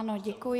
Ano, děkuji.